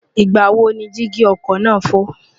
ìgbà wo ni dígí ọkọ̀ náà fọ́?